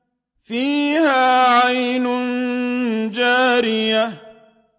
فِيهَا عَيْنٌ جَارِيَةٌ